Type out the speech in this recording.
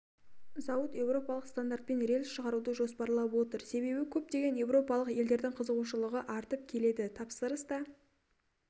зауыт еуропалық стандартпен рельс шығаруды жоспарлап отыр себебі көптеген еуропалық елдердің қызығушылығы артып келеді тапсырыс та